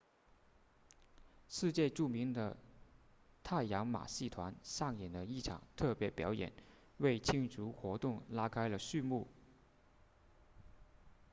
世界著名的太阳马戏团上演了一场特别表演为庆祝活动拉开了序幕